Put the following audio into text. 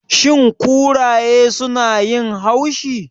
Shin kuraye sunayin haushi?